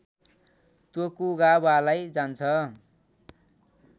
तोकुगावालाई जान्छ